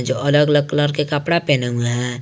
जो अलग अलग कलर के कपड़ा पहने हैं।